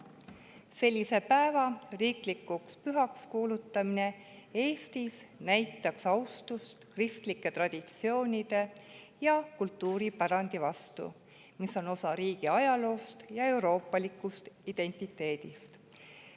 Sellise päeva riiklikuks pühaks kuulutamine Eestis näitaks austust kristlike traditsioonide ja kultuuripärandi vastu, mis on osa riigi ajaloost ja euroopalikust identiteedist.